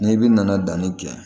Ni bin nana danni kɛ